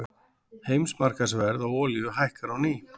Heimsmarkaðsverð á olíu hækkar á ný